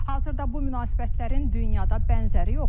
Hazırda bu münasibətlərin dünyada bənzəri yoxdur.